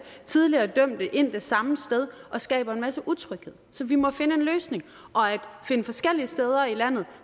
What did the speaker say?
tidligere dømte ind det samme sted og skaber en masse utryghed så vi må finde en løsning og finde forskellige steder i landet